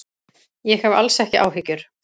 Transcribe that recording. Ég hef alls ekki áhyggjur.